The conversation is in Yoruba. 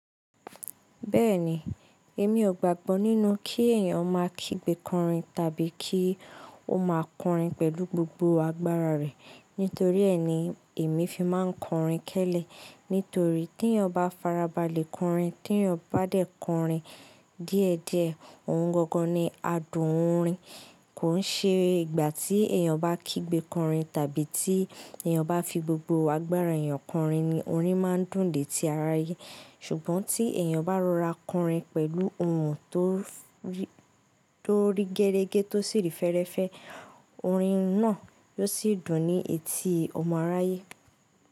Bẹ́ẹ̀ni, èmi ò gbàgbọ́ nínú kí èèyàn máa kígbe kọrin tàbí kí ó máa kọrin pẹ̀lú gbogbo agbára rẹ̀. Nítorí ẹni èmi fi máa ń kọrin kẹ́lẹ́. Nítorí tí ẹyan ba farabalẹ̀ kọrin, tí ẹyan ba dé kọrin díẹ̀ díẹ̀, òun gangan ni adùn orin. Kò ń ṣe ìgbà tí èèyàn bá kígbe kọrin tàbí tí èèyàn bá fi gbogbo agbára èèyàn kọrin ni orin máa ń dùn dé tí ara ayé. Ṣùgbọ́n tí èèyàn bá rọra kọrin pẹ̀lú ohùn tó rí gẹrẹgẹ to sì rí fẹ́rẹ́fẹ́, orin náà yóò sì dùn ní etí ọmọ aráyé.